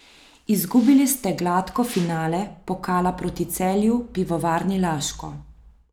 Izgubili ste gladko finale pokala proti Celju Pivovarni Laško.